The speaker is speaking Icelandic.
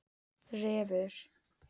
Refur